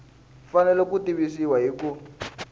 fanele ku tivisiwa hi ku